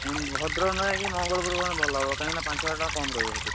ହୁଁ ଭଦ୍ରକ ନ ଯାଇକି ମଙ୍ଗଳପୁରୁ ଗଲେ ଭଲ ହବ କାହିଁକିନା ପାଞ୍ଚ ହଜାର ଟଙ୍କା କମ୍ ରହିବ ସେଠି।